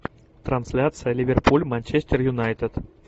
трансляция ливерпуль манчестер юнайтед